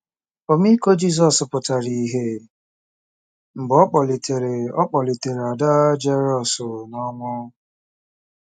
Ọmịiko Jizọs pụtara ìhè mgbe ọ kpọlitere ọ kpọlitere ada Jeirọs n’ọnwụ